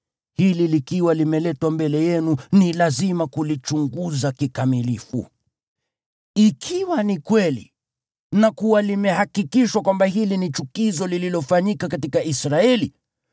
hili likiwa limeletwa mbele yenu, ni lazima kulichunguza kikamilifu. Ikiwa ni kweli na kuwa limehakikishwa kwamba hili ni chukizo lililofanyika katika Israeli,